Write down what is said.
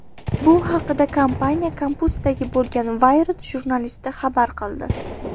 Bu haqda kompaniya kampusida bo‘lgan Wired jurnalisti xabar qildi .